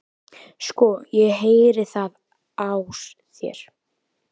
Sko, ég heyri það á þér